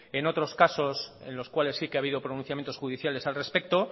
en otros casos en los cuales sí que ha habido pronunciamientos judiciales al respecto